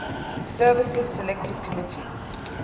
services select committee